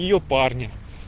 её парня